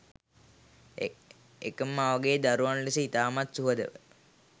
එකම මවගේ දරුවන් ලෙස ඉතාමත් සුහදව